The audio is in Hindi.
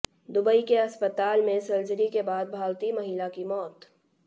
दुबई के अस्पताल में सर्जरी के बाद भारतीय महिला की मौत